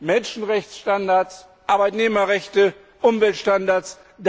Menschenrechtsstandards, Arbeitnehmerrechte, Umweltstandards.